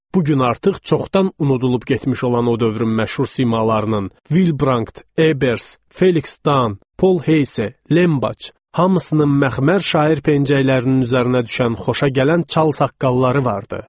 Bu gün artıq çoxdan unudulub getmiş olan o dövrün məşhur simalarının, Vil Brant, Eybers, Feliks Dan, Paul Heys, Lembax hamısının məxmər şair pəncəklərinin üzərinə düşən xoşagələn çal saqqalları vardı.